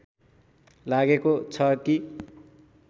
लागेको छ कि